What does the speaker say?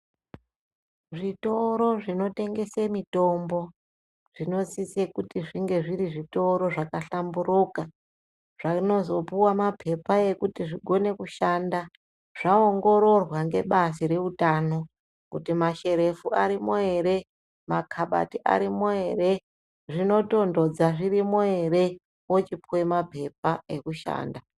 Zvitoro zvinotengesa mitombo, zvinosisa kuti zvinge zviri zvitoro zvakahlamburuka, zvinozopuwa mapepa ekuti zvikone kuzoshanda, zvaongoroorwa ngebazi reutano, kuti masherefu arimwo ere, makabati arimwo ere, zvinotonhodza zvirimwo ere, ochipuwa mapepa ekushanda.